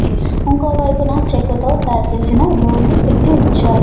ఉంకో వైపున చెక్కతో తయారు చేసిన డోర్ ని పెట్టి ఉంచారు.